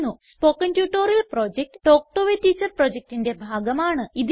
spoken tutorial project talk to a teacher പ്രൊജക്റ്റിന്റെ ഭാഗമാണ്